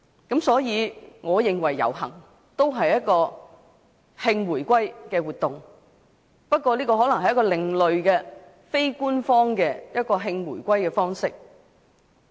因此，我認為遊行也是一項慶回歸活動，只不過是另類的、非官方的慶回歸方式。